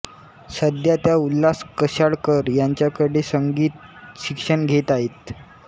सध्या त्या उल्हास कशाळकर यांच्याकडे संगीत शिक्षण घेत आहेत